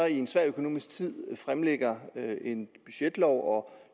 en svær økonomisk tid fremlægger en budgetlov og